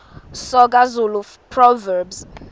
soga zulu proverbs